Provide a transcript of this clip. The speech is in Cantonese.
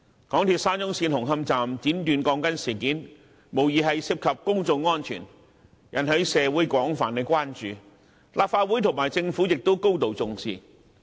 港鐵沙中線紅磡站剪短鋼筋事件無疑涉及公眾安全，並已引起社會廣泛關注，而立法會和政府亦高度重視。